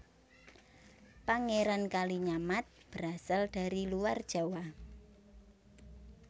Pangeran Kalinyamat berasal dari luar Jawa